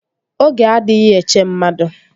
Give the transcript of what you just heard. Oge adịghị eche mmadụ